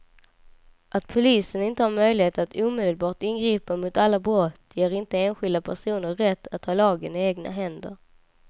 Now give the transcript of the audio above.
Att polisen inte har möjlighet att omedelbart ingripa mot alla brott ger inte enskilda personer rätt att ta lagen i egna händer.